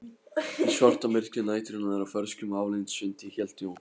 Í svartamyrkri næturinnar og ferskum aflandsvindi hélt Jón